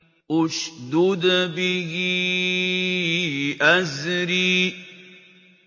اشْدُدْ بِهِ أَزْرِي